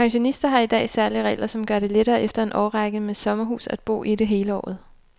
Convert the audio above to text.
Pensionister har i dag særlige regler, som gør det lettere efter en årrække med sommerhus at bo i det hele året.